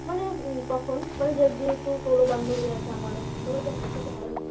মানে তখন মানে যেহেতু তোরও বান্ধবী আছে আমারও সবাই তো একসাথে হয় না